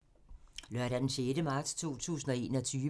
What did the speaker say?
Lørdag d. 6. marts 2021